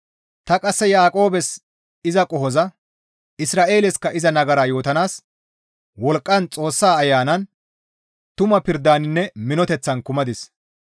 Ta qasse Yaaqoobes iza qohoza, Isra7eelesikka iza nagara yootanaas wolqqan, Xoossa ayanan, tuma pirdaninne minoteththan kumadis.